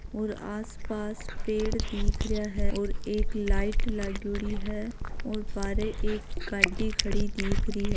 और आसपास पेड़ दिख रहिया है और एक लाईट लागयोड़ी है और बारे एक गाडी खड़ी दिख रही है।